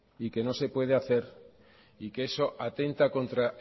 y que no se puede hacer y que eso atenta contra